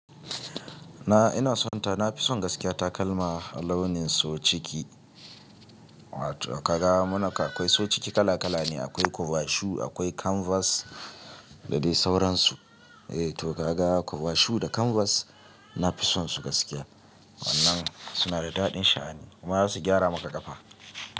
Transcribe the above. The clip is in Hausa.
Na ina so ta na fi son gaskiya ta kalma launin so ciki. Ka ga muna ka akwai so ciki kala kala ne, akwai covashu akwai kanvas dadai sauransu. Eh to ka ga covashu da kanvas na fi son su gaskiya wannan suna da daɗin sha'ani kuma za su gyara maka kafa.